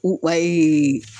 U ayeee